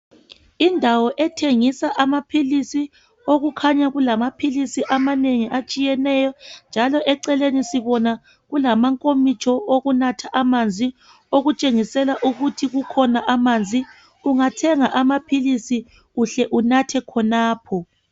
Indawo ethengisa amaphilisi, okukhanya kulamaphilisi amanengi atshiyeneyo njalo eceleni sibona kulamankomitsho okunatha amanzi okutshengisela ukuthi kukhona amanzi, ungathenga amaphilisi uhle unathe khonapho.